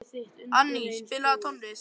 Anný, spilaðu tónlist.